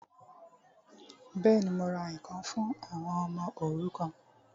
Bẹ́ẹ̀ni, mo ra ǹkan fún àwọn ọmọ òrukàn